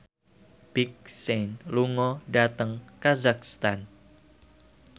Big Sean lunga dhateng kazakhstan